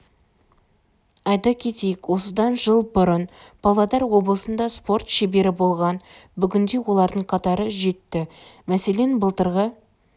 айта кетейік осыдан жыл бұрын павлодар облысында спорт шебері болған бүгінде олардың қатары жетті мәселен былтырғы